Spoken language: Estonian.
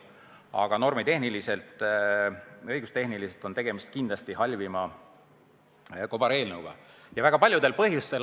Aga normitehniliselt, õigustehniliselt on kindlasti just praeguse eelnõu puhul tegemist halvima kobareelnõuga ja seda väga paljudel põhjustel.